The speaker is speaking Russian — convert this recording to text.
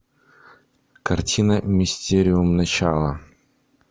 картина мистериум начало